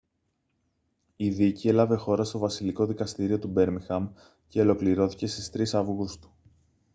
η δίκη έλαβε χώρα στο βασιλικό δικαστήριο του μπέρμιγχαμ και ολοκληρώθηκε στις 3 αυγούστου